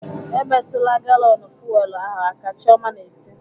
"Emetụla galọnụ fuwel ahụ aka!" Chioma na-eti